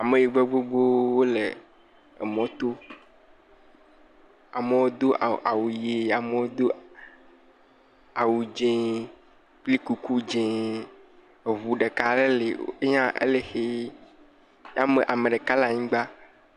Ameyibɔe gbogbowo le emɔto, amewo do awu ʋe, amewo do awu dzee kpli kuku dzee, eŋu ɖeka le ye hã ele ʋe, ame ɖeka le anyigba.